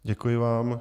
Děkuji vám.